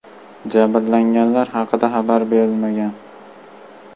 Jabrlanganlar haqida xabar berilmagan.